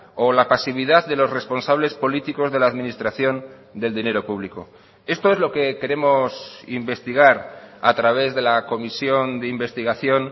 o la pasividad de los responsables políticos de la administración del dinero público esto es lo que queremos investigar a través de la comisión de investigación